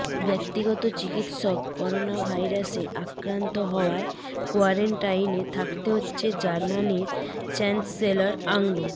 ব্যক্তিগত চিকিৎসক করোনাভাইরাসে আক্রান্ত হওয়ায় কোয়ারেন্টাইনে থাকতে হচ্ছে জার্মানির চ্যান্সেলর আঙ্গ